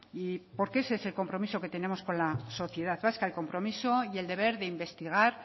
y porque es ese el compromiso que tenemos con la sociedad vasca el compromiso y el deber de investigar